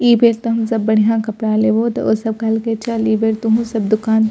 इ बेर तम हम सब बढ़ियां कपड़ा लेबो तो ओ सब कहल की चल इ बेर तोहू सब दुकान --